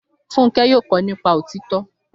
Fúnkẹ́ yóò kọ nípa òtítọ́